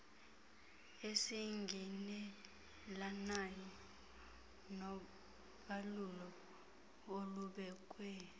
esingqinelanayo nobalulo olubekwe